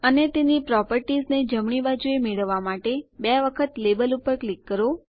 અને તેની પ્રોપર્ટીઝને જમણી બાજુએ મેળવવા માટે બે વખત લેબલ ઉપર ક્લિક કરો